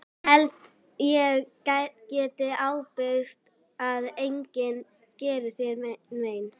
Ég held ég geti ábyrgst að enginn geri þér mein.